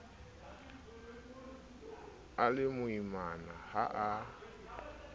a le moimana ha a